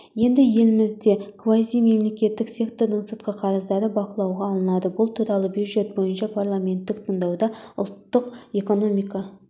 енді елімізде квазимемлекеттік сектордың сыртқы қарыздары бақылуға алынады бұл туралы бюджет бойынша парламенттік тыңдауда ұлттық экономика